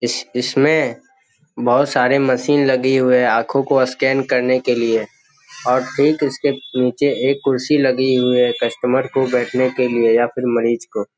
इस इसमें बहुत सारे मशीन लगे हुए है आंखों को स्कैन करने के लिए और ठीक इसके नीचे एक कुर्सी लगी हुई है कस्टमर को बैठने के लिए या फिर मरीज को।